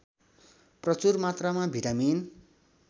प्रचुर मात्रामा भिटामिन